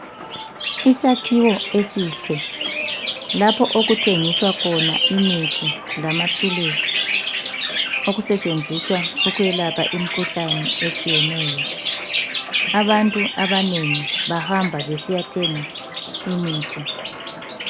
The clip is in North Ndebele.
Isakhiwo esihle lapho okuthengiswa khona imithi lamaphilisi okutshenzenziswa ukwelapha imkhuhlane etshiyeneyo. Abantu abanengi bahamba besiyathenga imithi .